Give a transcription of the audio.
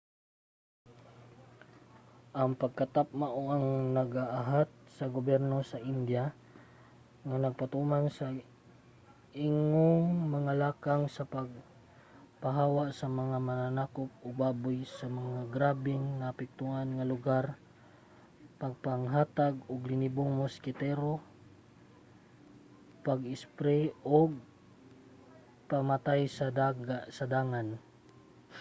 ang pagkatap mao ang nag-aghat sa gobyerno sa india nga magpatuman sa ingong mga lakang sa pagpahawa sa mga mananakop og baboy sa mga grabeng naapektuhan nga lugar pagpanghatag og linibong moskitero ug pag-espri og pamatay sa dangan